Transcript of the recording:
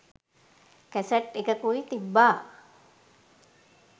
cassette එකකුයි තිබ්බා